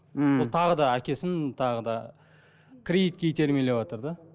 мхм ол тағы да әкесін тағы да кредитке итермелеватыр да